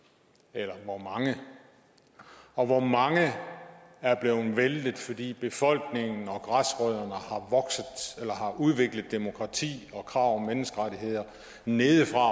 eller hvor mange og hvor mange er blevet væltet fordi befolkningen og græsrødderne har udviklet demokrati og krav om menneskerettigheder nedefra